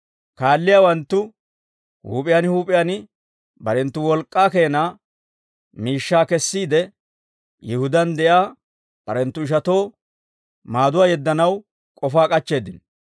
Kaalliyaawanttu huup'iyaan huup'iyaan barenttu wolk'k'aa keena miishshaa kessiide, Yihudaan de'iyaa barenttu ishatoo maaduwaa yeddanaw k'ofaa k'achcheeddino.